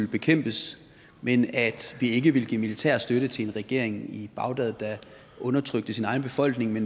bekæmpes men at vi ikke vil give militær støtte til en regering i bagdad der undertrykker sin egen befolkning i